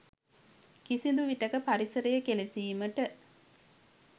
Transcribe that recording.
කිසිදු විටෙක පරිසරය කෙලෙසීමට